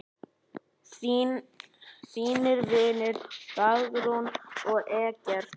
Þínir vinir, Dagrún og Eggert.